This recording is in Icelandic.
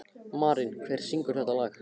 Marín, hver syngur þetta lag?